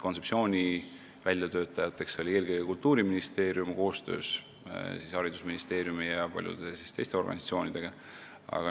Kontseptsiooni väljatöötaja oli eelkõige Kultuuriministeerium koostöös haridusministeeriumi ja paljude teiste organisatsioonidega.